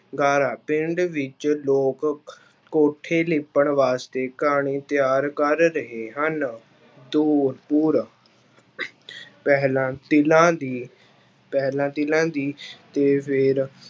ਗਾਰਾ ਪਿੰਡ ਵਿੱਚ ਲੋਕ ਕੋਠੇ ਲਿੱਪਣ ਵਾਸਤੇ ਘਾਣੀ ਤਿਆਰ ਕਰ ਰਹੇ ਹਨ ਪਹਿਲਾਂ ਤੀਲਾਂ ਦੀ ਪਹਿਲਾਂ ਤੀਲਾਂ ਦੀ ਤੇ ਫਿਰ